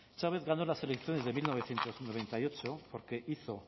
chávez ganó las elecciones de mil novecientos noventa y ocho porque hizo